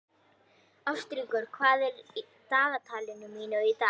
Ástríkur, hvað er í dagatalinu mínu í dag?